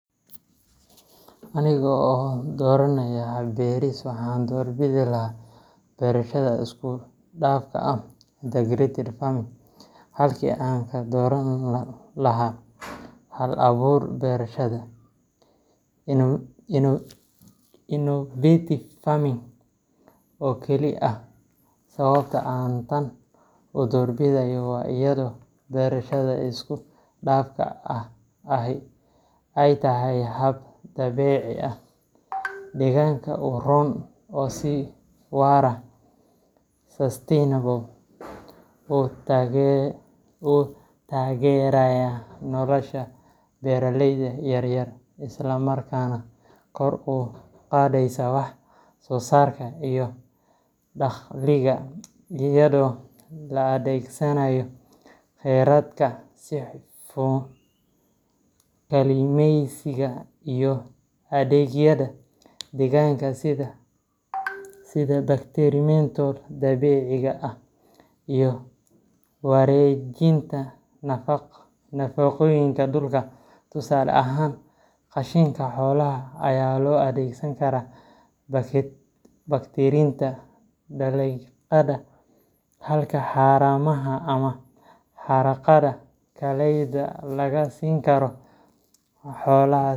Anigo oo dooranaya hab beeris, waxaan doorbidi lahaa beerashada isku dhafka ah integrated farming halkii aan ka dooran lahaa hal-aburka beerashada innovative farming oo keli ah. Sababta aan tan u doorbidayo waa iyadoo beerashada isku dhafka ahi ay tahay hab dabiici ah, deegaanka u roon, oo si waara sustainable u taageeraya nolosha beeraleyda yaryar, isla markaana kor u qaadaysa wax soosaarka iyo dakhliga iyadoo la adeegsanayo khayraadka si hufan. Habkan wuxuu isku daraa beerista dalagyada, xanaanada xoolaha, kalluumeysiga, iyo adeegyada deegaanka sida bacteriamental dabiiciga ah iyo wareejinta nafaqooyinka dhulka. Tusaale ahaan, qashinka xoolaha ayaa loo adeegsan karaa bacrinta dalagyada, halka haramaha ama haraaga dalagyada laga siin karo xoolaha .